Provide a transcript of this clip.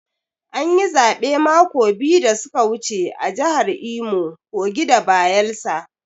An yi zaɓe mako biyu da su ka wuce a jahar Imo, Kogi da Bayelsa.